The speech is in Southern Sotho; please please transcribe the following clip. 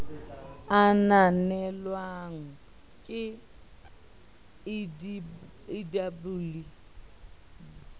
a ananelwang ke ldab le